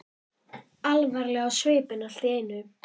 Alvarleg á svipinn allt í einu.